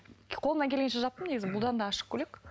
қолымнан келгенше жаптым негізі бұдан да ашық көйлек